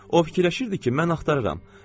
O fikirləşirdi ki, mən axtarıram.